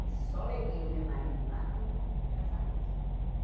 E só levei o meu marido lá quando eu fui para casar mesmo.